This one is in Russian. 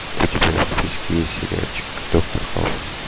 у тебя в списке есть сериальчик доктор хаус